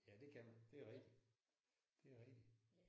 Ja det kan man det er rigtigt. Det er rigtigt